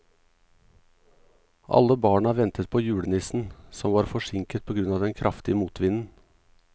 Alle barna ventet på julenissen, som var forsinket på grunn av den kraftige motvinden.